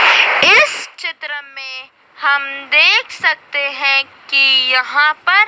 इस चित्र में हम देख सकते हैं कि यहां पर--